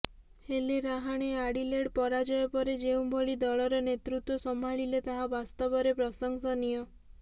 ହେଲେ ରାହାଣେ ଆଡିଲେଡ୍ ପରାଜୟ ପରେ ଯେଉଁ ଭଳି ଦଳର ନେତୃତ୍ବ ସମ୍ଭାଳିଲେ ତାହା ବାସ୍ତବରେ ପ୍ରଶଂସନୀୟ